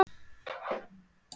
Hvers konar skjöl eru þetta?